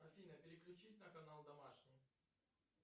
афина переключить на канал домашний